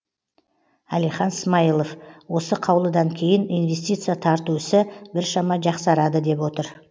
әлихан смайылов осы қаулыдан кейін инвестиция тарту ісі біршама жақсарады деп отыр